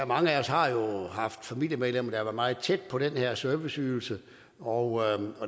mange af os har jo haft familiemedlemmer været meget tæt på den her serviceydelse og